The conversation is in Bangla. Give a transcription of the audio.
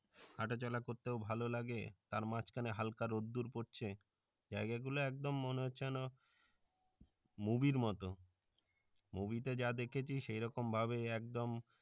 হাঁটাচলা করতেও ভালো লাগে তার মাঝখানে হাল্কা রোদ্দুর পরছে জাইগা গুলো একদম মনে হচ্ছে যেন movie এর মতো movie তে যা দেখেছি সেরকম ভাবেই একদম